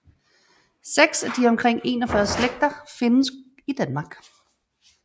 Seks af de omkring 41 slægter findes i Danmark